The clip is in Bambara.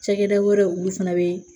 Cakɛda wɛrɛ olu fana be